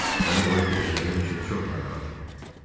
Səni qoyub gedəcəyim üçün çox narahatam.